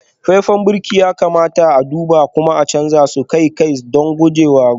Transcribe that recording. faifan birki ya kamata a duba kuma a canza su akai-akai don gujewa gazawa